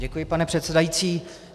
Děkuji, pane předsedající.